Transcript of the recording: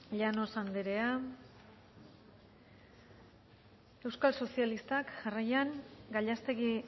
llanos anderea euskal sozialistak jarraian gallástegui